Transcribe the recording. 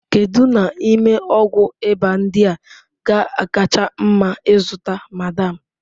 Kedu n'ime ọgwụ ịba ndị a ga-akacha mma ịzụta, madam?